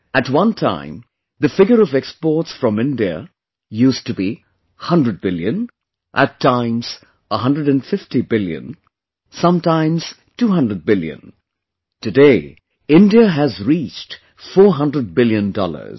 At one time, the figure of exports from India used to be 100 billion, at times 150 billion, sometimes 200 billion...today, India has reached 400 billion dollars